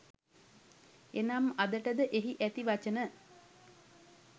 එනම් අදට ද එහි ඇති වචන